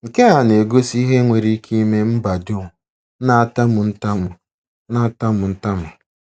Nke a na-egosi ihe nwere ike ime mba dum na-atamu ntamu na-atamu ntamu.